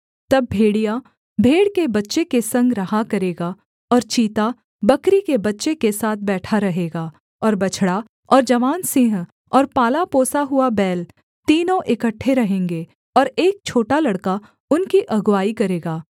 तब भेड़िया भेड़ के बच्चे के संग रहा करेगा और चीता बकरी के बच्चे के साथ बैठा रहेगा और बछड़ा और जवान सिंह और पाला पोसा हुआ बैल तीनों इकट्ठे रहेंगे और एक छोटा लड़का उनकी अगुआई करेगा